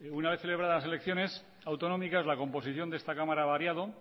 una vez celebradas las elecciones autonómicas la composición de esta cámara ha variado